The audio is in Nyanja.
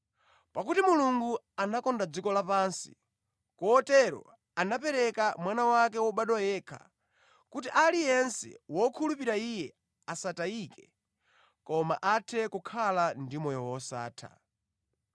“Pakuti Mulungu anakonda dziko lapansi, kotero anapereka Mwana wake wobadwa yekha, kuti aliyense wokhulupirira Iye asatayike koma akhale ndi moyo wosatha.